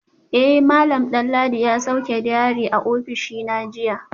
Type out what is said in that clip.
Eh malam Danladi ya sauke diary a ofishina jiya